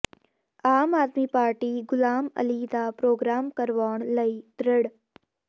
ਆਮ Aadmi party Ghulam Ali ਦਾ programme ਕਰਵਾਉਣ ਲਈ ਦ੍ਰਿੜ